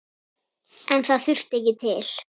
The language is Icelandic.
En það þurfti ekki til.